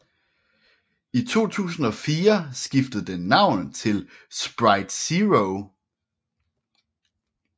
I 2004 skiftede den navn til Sprite Zero